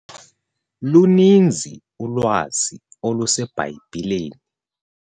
Luninzi ulwazi oluseBhayibhileni.